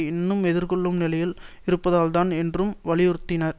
இன்னும் எதிர்கொள்ளும் நிலையில் இருப்பதாலும்தான் என்றும் வலியுறுத்தினார்